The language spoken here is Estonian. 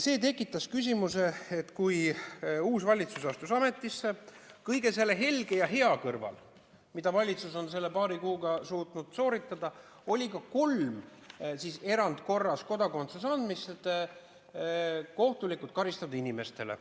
See tekitas küsimuse, kui uus valitsus astus ametisse, et kõige selle helge ja hea kõrval, mida valitsus on selle paari kuuga suutnud sooritada, oli ka kolm erandkorras kodakondsuse andmist kohtulikult karistatud inimestele.